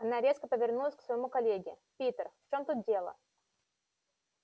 она резко повернулась к своему коллеге питер в чем тут дело